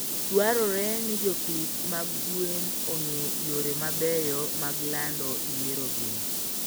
Dwarore ni jopith mag gwen ong'e yore mabeyo mag lando yierogi.